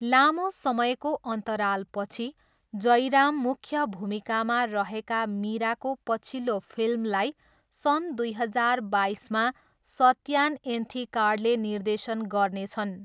लामो समयको अन्तरालपछि, जयराम मुख्य भूमिकामा रहेका मिराको पछिल्लो फिल्मलाई सन् दुई हजार बाइसमा सत्यान एन्थिकाडले निर्देशन गर्नेछन्।